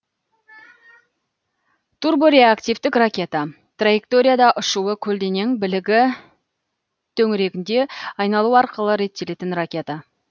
турбореактивтік ракета траекторияда ұшуы көлденең білігі төңірегінде айналу арқылы реттелетін ракета